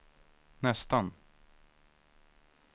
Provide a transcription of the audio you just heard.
nästan